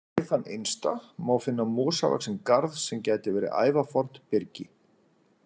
Við þann innsta má finna mosavaxinn garð sem gæti verið ævafornt byrgi.